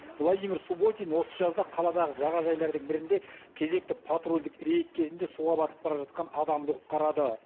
владимир субботин осы жазда қаладағы жағажайлардың бірінде кезекті патрульдік рейд кезінде суға батып бара жатқан адамды құтқарады